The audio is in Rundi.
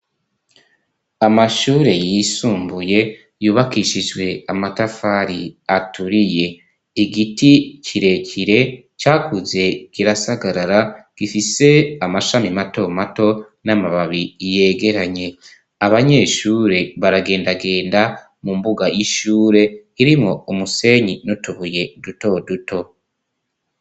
Amashure yisumbuye yubakishijwe amatafari aturiye. Igiti kirekire cakuze kirasagarara, gifise amashami mato mato n'amababi yegeranye. Abanyeshure baragendagenda mu mbuga y'ishure irimo umusenyi n'utubuye duto duto.